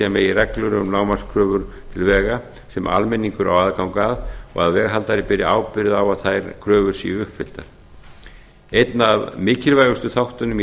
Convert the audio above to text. megi reglur um lágmarkskröfur til vega sem almenningur á aðgang að og að veghaldari beri ábyrgð á að þær kröfur séu uppfylltar einn af mikilvægustu þáttunum í